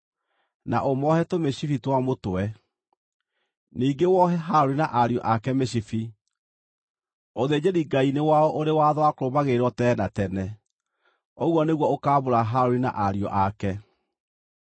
na ũmoohe tũmĩcibi twa mũtwe. Ningĩ wohe Harũni na ariũ ake mĩcibi. Ũthĩnjĩri-Ngai nĩ wao ũrĩ watho wa kũrũmagĩrĩrwo tene na tene. Ũguo nĩguo ũkaamũra Harũni na ariũ ake.